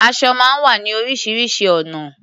Aṣọ máa ń wá ní oríṣiríṣi ọ̀nà.